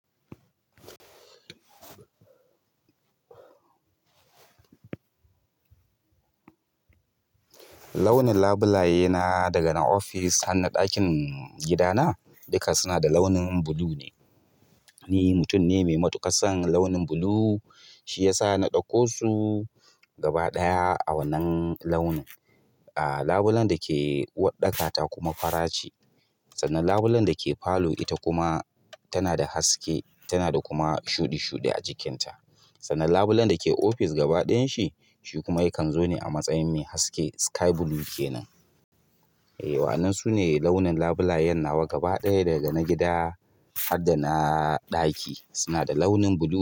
Launin labulaye na daga na ofis har na ɗakin gidana duka suna da launin blue ne. Ni mutum ne mai matuƙar son launin blue. Shiyasa na ɗauko su gaba ɗaya a wannan launin. Ah, labulen dake uwar ɗaka ta kuma fara ce. Sannan labulen dake parlour ita kuma tana da haske, tana da kuma shuɗi shuɗi a jikinta. Sannan labulen dake office gaba ɗayan shi, shi kuma yakan zo ne a matsayin mai haske sky blue kenan e, wa'nnan sune launin labulayen nawa gaba ɗaya daga na gida harda na ɗaki suna da launin blue.